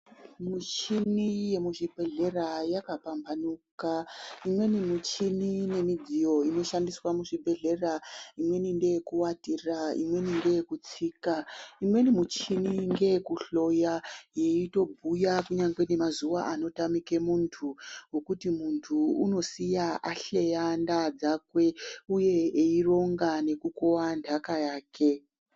Michini yemuzvibhedhlera yakapamhanuka , imweni michini nemigiyo inoshandiswa muzvibhedhlera imweni ndeyekuvatira imweni ndeyekutsika imweni michini ngeyekuhloya yeitobhuya kunyangwe nemazuwa anotamike muntu ngokuti muntu unosiye ahleya ndaa dzakwe uye eironga nekukowa ndaka yake .